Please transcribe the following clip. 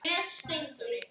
Við erum mjög góðar.